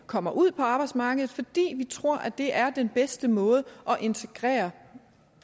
kommer ud på arbejdsmarkedet fordi vi tror at det er den bedste måde at integrere